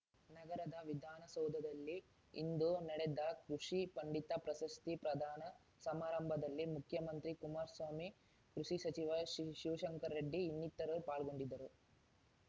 ನಗರದ ವಿಧಾನಸೌಧದಲ್ಲಿ ಇಂದು ನಡೆದ ಕೃಷಿ ಪಂಡಿತ ಪ್ರಶಸ್ತಿ ಪ್ರಧಾನ ಸಮಾರಂಭದಲ್ಲಿ ಮುಖ್ಯಮಂತ್ರಿ ಕುಮಾರ್ ಸ್ವಾಮಿ ಕೃಷಿ ಸಚಿವ ಶಿವ್ ಶಿವಶಂಕರ ರೆಡ್ಡಿ ಇನ್ನಿತರು ಪಾಲ್ಗೊಂಡಿದ್ದರು